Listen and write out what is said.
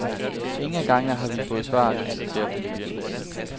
Ingen af gangene har vi fået svar, konstaterer familien.